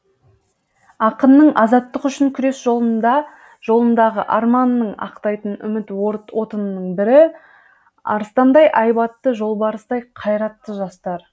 ақынның азаттық үшін күрес жолындағы арманын ақтайтын үміт отының бірі арыстандай айбатты жолбарыстай қайратты жастар